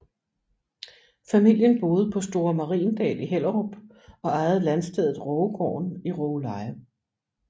Familien boede på Store Mariendal i Hellerup og ejede landstedet Rågegården i Rågeleje